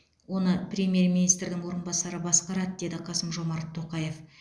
оны премьер министрдің орынбасары басқарады деді қасым жомарт тоқаев